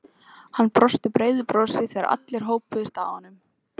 Hann brosti breiðu brosi þegar allir hópuðust að honum.